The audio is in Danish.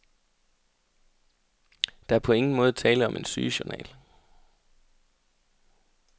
Der er på ingen måde tale om en sygejournal.